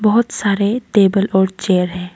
बहोत सारे टेबल और चेयर हैं।